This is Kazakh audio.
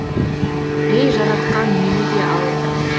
ей жаратқан мені де ал